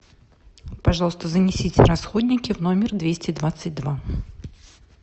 пожалуйста занесите расходники в номер двести двадцать два